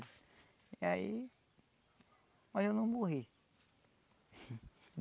E aí... mas eu não morri.